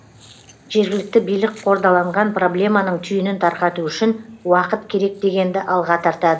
жергілікті билік қордаланған проблеманың түйінін тарқату үшін уақыт керек дегенді алға